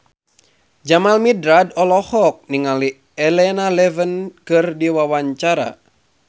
Jamal Mirdad olohok ningali Elena Levon keur diwawancara